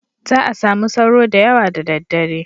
Za a sami sauro da yawa da daddare.